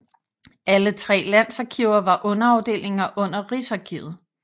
Alle tre landsarkiver var underafdelinger under Rigsarkivet